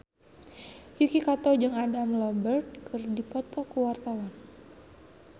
Yuki Kato jeung Adam Lambert keur dipoto ku wartawan